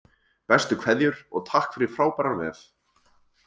Bestu kveðjur og takk fyrir frábæran vef!